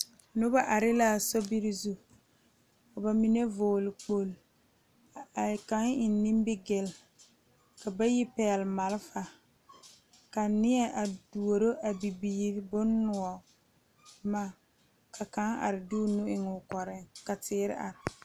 Noba are la a sobiiri zu ka bamine vɔgle kpole ka kaŋa eŋ nimigel ka bayi pegle maalefa ka nie pouri ka a bibiiri bonnoɔ boma ka kaŋa are de o nu eŋ o koɔre ka teere are.